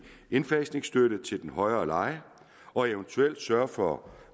indfasningsstøtte til den højere leje og eventuelt at sørge for